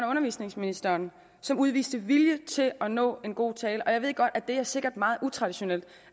undervisningsministeren som udviste vilje til at nå en god aftale jeg ved godt at det sikkert er meget utraditionelt